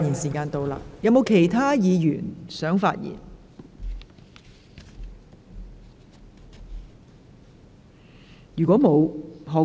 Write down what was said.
是否有其他議員想發言？